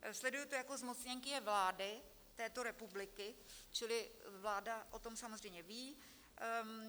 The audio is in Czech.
Sleduji to jako zmocněnkyně vlády této republiky, čili vláda o tom samozřejmě ví.